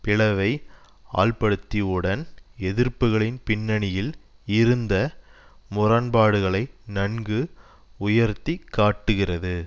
பிளவை ஆழ்ப்படுத்தியுடன் எதிர்ப்புக்களின் பின்னணியில் இருந்த முரண்பாடுகளை நன்கு உயர்த்தி காட்டுகிறது